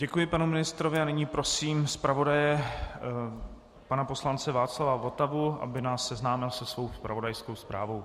Děkuji panu ministrovi a nyní prosím zpravodaje pana poslance Václava Votavu, aby nás seznámil se svou zpravodajskou zprávou.